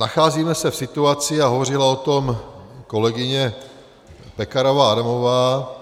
Nacházíme se v situaci, a hovořila o tom kolegyně Pekarová Adamová,